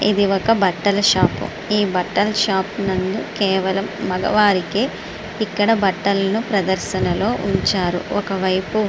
ఒక బట్టల షాపు . ఈ బట్టల షాపు నందు కేవలం మగవారికే ఇక్కడ ప్రదర్శనలో ఉంచారు. ఒకవైపు--